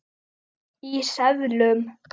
Í seðlum.